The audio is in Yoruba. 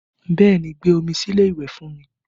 Bẹẹ ni, gbé omi sí ilé ìwẹ̀ fún mi